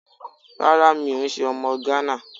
Rárá mi ò n se ọmọ Gánà